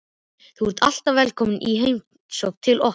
Þú ert alltaf velkomin í heimsókn til okkar.